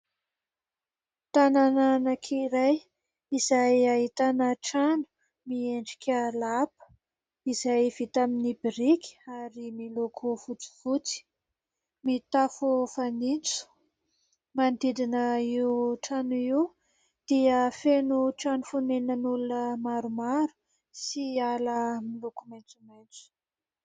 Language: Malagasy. Tanàna anankiray izay ahitana trano miendrika lapa, izay vita amin'y biriky ary miloko fotsifotsy, mitafo fanitso. Manodidina io trano io, dia feno trano fonenan'ny olona maromaro sy ala miloko maitsomaitso.